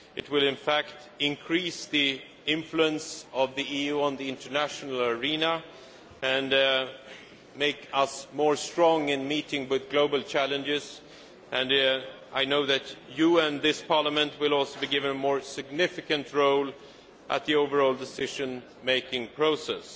It will, in fact, increase the influence of the EU in the international arena and make us stronger in meeting global challenges, and I know that you in this Parliament will also be given a more significant role in the overall decision making process.